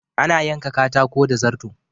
Ana yanka katako da zarto.